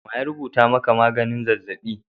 Wa rubuta maka magnin zazzaɓi?